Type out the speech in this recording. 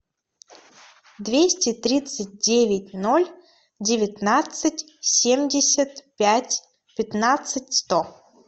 двести тридцать девять ноль девятнадцать семьдесят пять пятнадцать сто